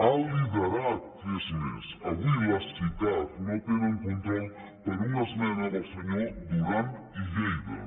ha liderat que és més avui les sicav no tenen control per una esmena del senyor duran i lleida